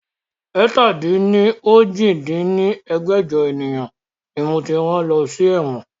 ẹ̀ta-lé-ní-ojì dín ní ẹgbẹ́jọ ènìyàn ni moti rán lọ sí ẹ̀wọ̀n